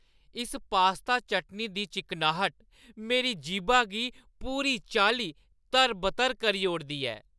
इस पास्ता चटनी दी चिकनाह्‌ट मेरी जीह्‌बा गी पूरी चाल्ली तर-बतर करी ओड़दी ऐ।